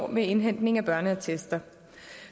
med indhentning af børneattester